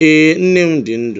Ee, nne m di ndu.